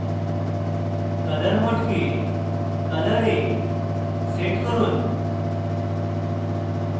colour mode colour এ set করুন